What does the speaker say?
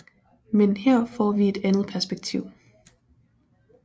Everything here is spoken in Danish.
Men her får vi et andet perspektiv